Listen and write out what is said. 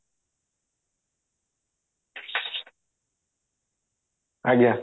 ଆଜ୍ଞା